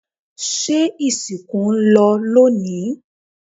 se ìsìnkú ń lọ lónìí?